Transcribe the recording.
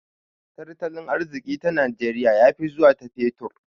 Tartalin arziki ta najeriya ya fi zuwa ta fetur